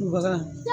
Baga